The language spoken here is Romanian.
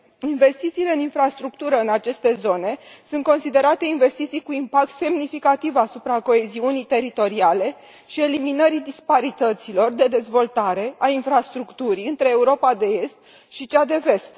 Investițiile în infrastructură în aceste zone sunt considerate investiții cu impact semnificativ asupra coeziunii teritoriale și a eliminării disparităților de dezvoltare a infrastructurii între Europa de Est și cea de Vest.